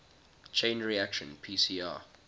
chain reaction pcr